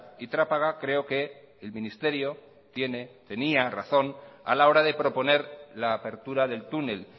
y trápaga creo que el ministerio tiene tenía razón a la hora de proponer la apertura del túnel